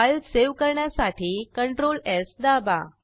file save करण्यासाठी ctrls दाबा